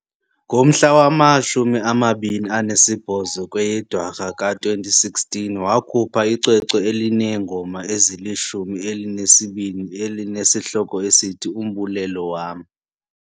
Ngomhla wama-28 kweyeDwarha ka-2016, wakhupha icwecwe elineengoma ezilishumi elinesibini elinesihloko esithi uMbulelo Wam .